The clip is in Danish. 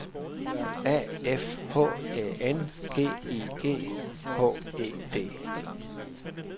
A F H Æ N G I G H E D